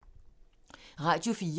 Radio 4